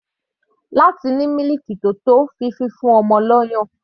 Láti ní mílìkì tó tó fún fífún ọmọ lọ́yàn.